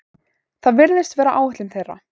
Það virðist vera áætlun þeirra